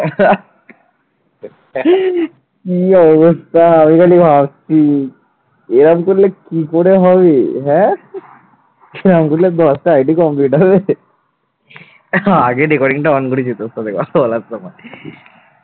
আগে recording টা on করেছি তো বলার সময়